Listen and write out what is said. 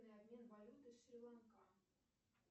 обмен валюты шри ланка